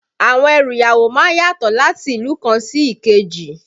Àwọn ẹrù ìyàwó má ń yàtọ̀ láti ìlú kan sí èkejì